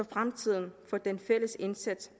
fremtiden for den fælles indsats